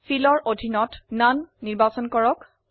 Fill ত ননে নিৰ্বাচন কৰক